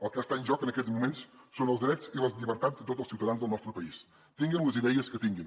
el que està en joc en aquests moments són els drets i les llibertats de tots els ciutadans del nostre país tinguin les idees que tinguin